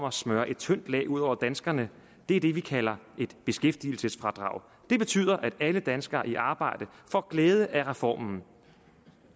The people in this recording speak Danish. at smøre et tyndt lag ud over danskerne er det vi kalder et beskæftigelsesfradrag det betyder at alle danskere i arbejde får glæde af reformen